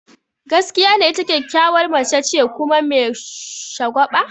Gaskiya ne, ita kyakkyawar mace ce kuma me shagwaba.